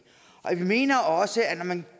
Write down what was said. vi mener også at når man